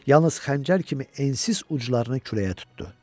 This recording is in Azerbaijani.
Yalnız xəncər kimi ensiz uclarını küləyə tutdu.